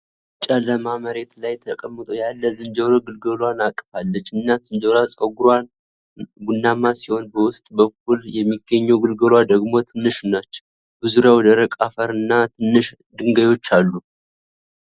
ጨለማ መሬት ላይ ተቀምጦ ያለች ዝንጀሮ ግልገሏን አቅፋለች። እናት ዝንጀሮዋ ፀጉራማና ቡናማ ሲሆን በውስጥ በኩል የሚገኘው ግልገሏ ደግሞ ትንሽ ነች። በዙሪያቸው ደረቅ አፈርና ትናንሽ ድንጋዮች አሉ።